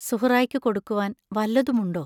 സുഹറായ്ക്കു കൊടുക്കുവാൻ വല്ലതുമുണ്ടോ?...